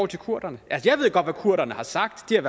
til kurderne jeg ved godt hvad kurderne har sagt de har